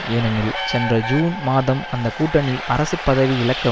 ஏனெனில் சென்ற ஜூன் மாதம் அந்த கூட்டணி அரசு பதவி இழக்க